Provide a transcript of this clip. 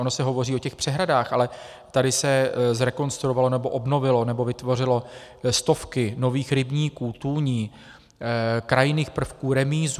Ono se hovoří o těch přehradách, ale tady se zrekonstruovaly, nebo obnovily, nebo vytvořily stovky nových rybníků, tůní, krajinných prvků, remízů.